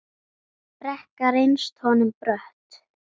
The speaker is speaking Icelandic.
Brekka reynst honum brött.